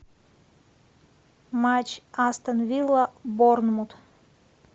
матч астон вилла борнмут